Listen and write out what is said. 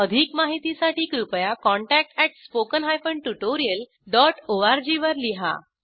अधिक माहितीसाठी कृपया contactspoken tutorialorg वर लिहा